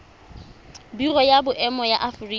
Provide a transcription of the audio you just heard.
biro ya boemo ya aforika